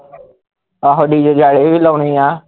ਆਹੋ dj ਜਾਲੇ ਵੀ ਲਾਉਣੇ ਆ